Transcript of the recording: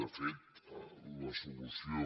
de fet la solució